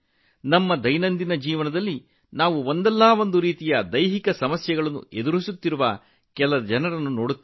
ನಮ್ಮ ದೈನಂದಿನ ಜೀವನದಲ್ಲಿ ದೈಹಿಕ ಸವಾಲುಗಳನ್ನು ಎದುರಿಸುತ್ತಿರುವ ಕೆಲವು ಸ್ನೇಹಿತರನ್ನು ಸಹ ನಾವು ನೋಡುತ್ತೇವೆ